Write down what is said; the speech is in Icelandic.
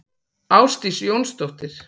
Ásdís Jónsdóttir.